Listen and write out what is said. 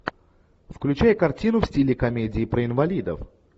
включай картину в стиле комедии про инвалидов